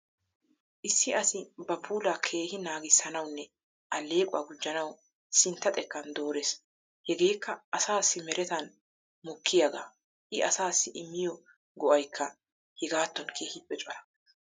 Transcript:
Issi asi ba puula keehi naaggissanawunne alleqquwa gujanawu sintta xekkan doorees. Hegekka asassi meretan mokkiyaaga,i asassi immiyo go'aykka hegatton keehippe cora .